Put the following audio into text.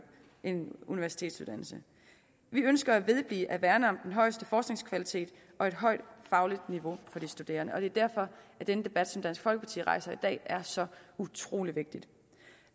en universitetsuddannelse vi ønsker at vedblive at værne om den højeste forskningskvalitet og et højt fagligt niveau for de studerende og det er derfor denne debat som dansk folkeparti rejser i dag er så utrolig vigtig